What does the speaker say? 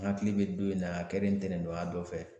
N hakili bɛ don in na a kɛlen ntɛnɛndonya dɔ fɛ